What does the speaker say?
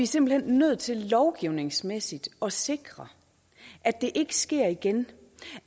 simpelt hen nødt til lovgivningsmæssigt at sikre at det ikke sker igen